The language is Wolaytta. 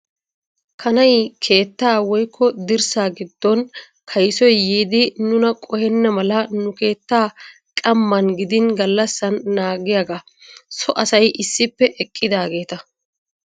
Kanay keettaa woyikko dirssa giddon kayisoy yiiddi nuna qohenna mala nu keettaa qamman gidin gallassan naagiyaagaa. So asay issippe eqqidaageeta.